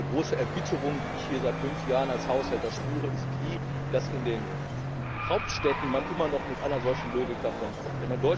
Eine große Verbitterung, die ich hier seit fünf Jahren als Haushälter spüre, ist die, dass man in den Hauptstädten immer noch mit einer solchen Logik davon kommt.